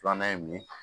Filanan ye mun ye